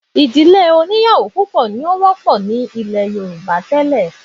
Ìdílé oníyàwó púpọ̀ ni ó wọ́pọ̀ ní ilẹ̀ Yorùbá tẹ́lẹ̀